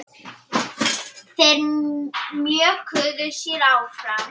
Þeir mjökuðu sér áfram.